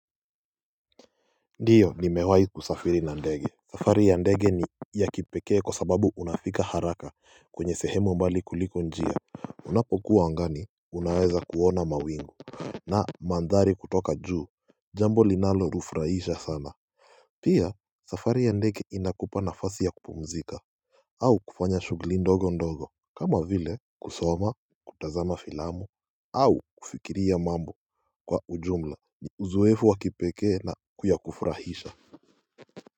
Ndiyo ni mewai kusafiri na ndege safari ya ndege ni ya kipekee kwa sababu unafika haraka kwenye sehemu mbali kuliko njia Unapokuwa angani unaweza kuona mawingu na mandhari kutoka juu Jambo linalo ufrahisha sana Pia safari ya ndege inakupa na fasi ya kupumzika au kufanya shughuli ndogo ndogo kama vile kusoma kutazama filamu au kufikiria mambo kwa ujumla Uzowefu wa kipekee na yakufrahisha.